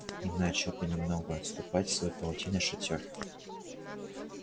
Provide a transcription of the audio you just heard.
и начал понемногу отступать в свой паутинный шатёр